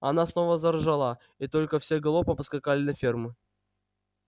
она снова заржала и тогда все галопом поскакали на ферму